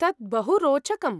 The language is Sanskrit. तत् बहु रोचकम्।